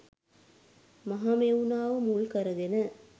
මහමෙව්නාව මුල් කරගෙන